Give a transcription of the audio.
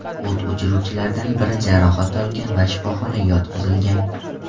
O‘t o‘chiruvchilardan biri jarohat olgan va shifoxonaga yotqizilgan.